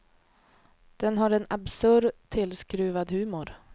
Den har en absurd tillskruvad humor.